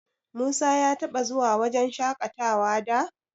Musa ya taɓa zuwa wajen shaƙatawa da?